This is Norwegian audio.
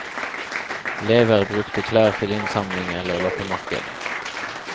Lever brukte klær til innsamling eller loppemarked.